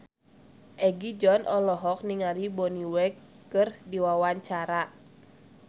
Egi John olohok ningali Bonnie Wright keur diwawancara